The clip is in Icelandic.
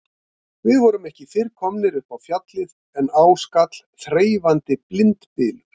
Við vorum ekki fyrr komnir upp á Fjallið en á skall þreifandi blindbylur.